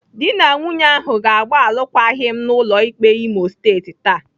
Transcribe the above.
Dị na nwunye ahụ ga-agba alụkwaghịm n'ụlọ ikpe Imo State taa.